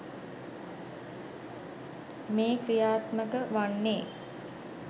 මේ ක්‍රියාත්මක වන්නේ.